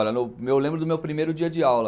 Olha, eu lembro do meu primeiro dia de aula.